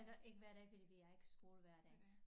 Altså ikke hver dag fordi vi har ikke skole hver dag